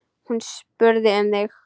Hún spurði um þig.